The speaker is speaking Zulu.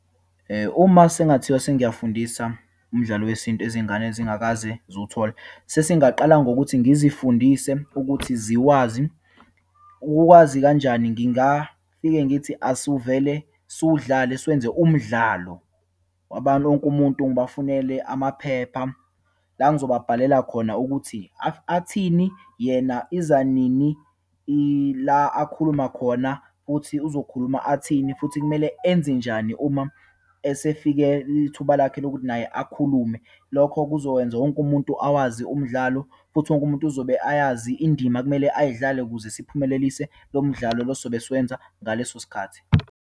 Uma sekungathiwa sengiyafundisa umdlalo wesintu izingane ezingakaze ziwuthole, sesingaqala ngokuthi ngizifundise ukuthi ziwazi. Ukukuwazi kanjani, ngingafike ngithi asiwuvele siwudlale, siwenze umdlalo. wonke umuntu ngibafunele amaphepha, la ngizobabhalela khona ukuthi, athini, yena iza nini, ila akhuluma khona, futhi uzokhuluma athini, futhi kumele enze njani uma esefike ithuba lakhe lokuthi naye akhulume. Lokho kuzowenza wonke umuntu awazi umdlalo, futhi wonke umuntu uzobe ayazi indima ekumele ayidlale ukuze siphumelelise lo mdlalo lo esizobe suwenza ngaleso sikhathi.